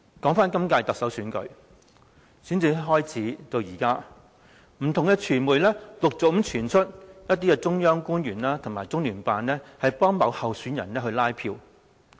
今屆特首選舉的選戰從開始至今，不同傳媒陸續傳出一些中央官員和中聯辦協助某候選人拉票。